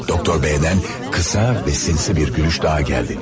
Doktor B-dən qısa və sinsi bir gülüş daha gəldi.